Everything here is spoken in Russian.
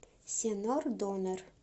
сенор донер